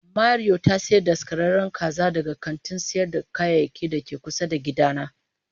Mario ta sayi daskararren kaza daga kantin sayar da kayayyaki da ke kusa da gidana.